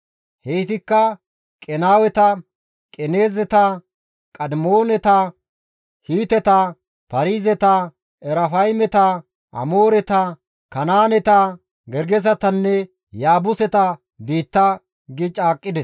Heytikka Qenaaweta, Qenaazeta, Qadimooneta, Hiiteta, Paarizeta, Erafaymeta, Amooreta, Kanaaneta, Gergesetanne Yaabuseta biitta» gi caaqqides.